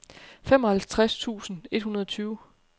femoghalvtreds tusind et hundrede og tyve